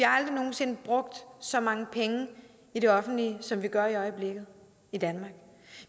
aldrig nogen sinde brugt så mange penge i det offentlige i som vi gør i øjeblikket